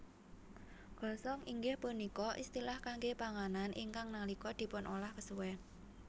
Gosong inggih punika istilah kangge panganan ingkang nalika dipunolah kesuwen